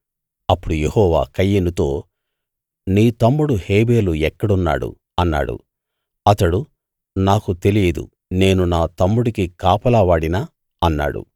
అప్పుడు యెహోవా కయీనుతో నీ తమ్ముడు హేబెలు ఎక్కడున్నాడు అన్నాడు అతడు నాకు తెలియదు నేను నా తమ్ముడికి కాపలా వాడినా అన్నాడు